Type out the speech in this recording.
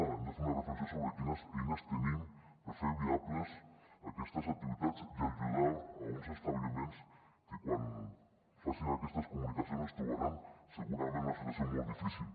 hem de fer una reflexió sobre quines eines tenim per fer viables aquestes activitats i ajudar uns establiments que quan facin aquestes comunicacions es trobaran segurament en una situació molt difícil